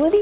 官。